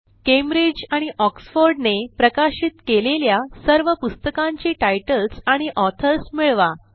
Cambridge आणि Oxford ने प्रकाशित केलेल्या सर्व पुस्तकांची टाइटल्स आणि ऑथर्स मिळवा